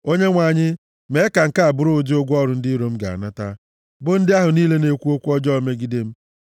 Onyenwe anyị, mee ka nke a bụrụ ụdị ụgwọ ọrụ ndị iro m ga-anata, bụ ndị ahụ niile na-ekwu okwu ọjọọ megide m.